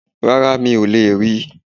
Rárá, mi ò lè ri